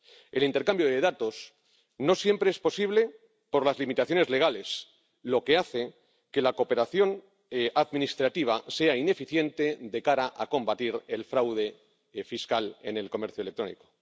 El intercambio de datos no siempre es posible por las limitaciones legales, lo que hace que la cooperación administrativa sea ineficiente de cara a combatir el fraude fiscal en el comercio electrónico.